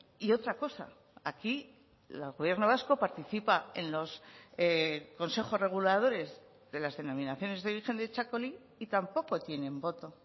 y otra cosa aquí el gobierno vasco participa en los consejos reguladores de las denominaciones de origen de txakoli y tampoco tienen voto